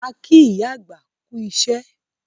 A kí ìyá àgbà kú iṣẹ́